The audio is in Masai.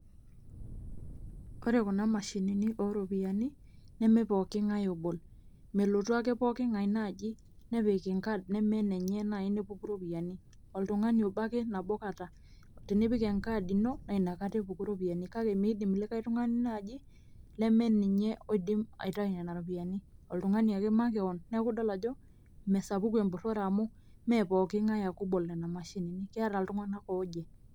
ore kuna mashini ooropyiani neme pooki ng'ae obol. melotu ake pooki ng'ae naaji nepik enkaad enye nepuku iropiyiani, oltungani obo ake nabo kata. tenipik enkaad ino naa inakaa epuku ropiyiani. kake meidim likae tungani naaji leme ninyeoidim aitayu nena ropiyiani. oltungani ake makewon, neeku idol ajo mesapuku empurore amu ime pooki ng'ae ake obol nena mashini, keeta iltunganak oje.